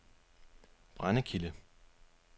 Brændekilde